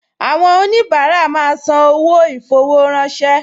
Àwọn oníbàárà máa ń san owó ì-fowó-ránṣẹ́